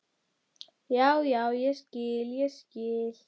Já, já, ég skil, ég skil.